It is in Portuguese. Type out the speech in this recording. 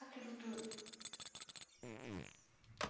Aquilo tudo.